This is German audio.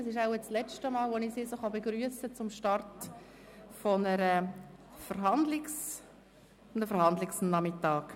Das ist wohl das letzte Mal, dass ich sie zum Start eines Verhandlungsnachmittags begrüssen kann.